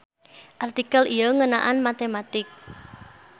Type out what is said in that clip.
Artikel ieu ngeunaan matematik.